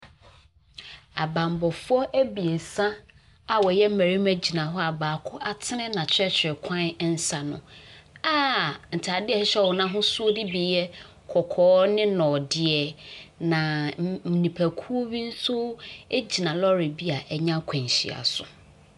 Abanmmɔfoɔ abiesa a wɔyɛ mmarima gyina hɔ a baako atenen n'akyerɛkyerɛkwan nsa ano a ntaadeɛ ntaadeɛ a ɛhyehyɛ wɔn no ahosuo bi bi yɛ kɔkɔɔ ne nɔdeɛ. Na mmm nnipakuo bi nso gyina lɔɔre bi a anya akwanhyia so.